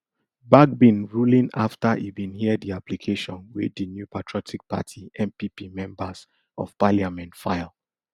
bagbin ruling afta e bin hear di application wey di new patriotic party npp members of parliament file